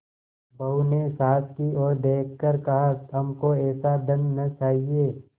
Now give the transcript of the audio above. बहू ने सास की ओर देख कर कहाहमको ऐसा धन न चाहिए